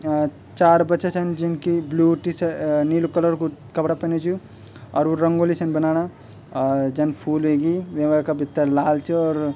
अ चार बच्चा छन जिनके ब्लू टी-शर्ट अ-अ नीलू कलर कु कपड़ा पेन्यु च अर वू रंगोली छन बनाणा आ जन फूल ह्वेगी वेमा का भित्तर लाल च और --